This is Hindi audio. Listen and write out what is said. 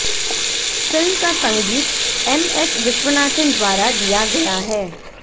फ़िल्म का संगीत एम॰ एस॰ विश्वनाथन द्वारा दिया गया है